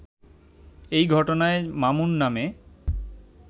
এই ঘটনায় মামুন নামে